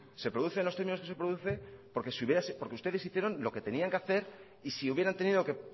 se produce en los términos que se produce porque ustedes hicieron lo que tenían que hacer y si hubieran tenido que